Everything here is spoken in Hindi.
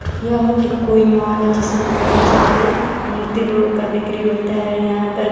यह कोई मॉल है जिसमें बहुत सारे मूर्ति लोग का बिक्री होता है यहां पर।